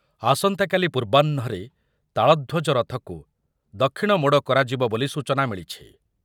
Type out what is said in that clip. ଆସନ୍ତାକାଲି ପୂର୍ବାହ୍ନରେ ତାଳଧ୍ୱଜ ରଥକୁ ଦକ୍ଷିଣ ମୋଡ଼ କରାଯିବ ବୋଲି ସୂଚନା ମିଳିଛି ।